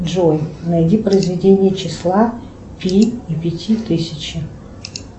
джой найди произведение числа пи и пяти тысячи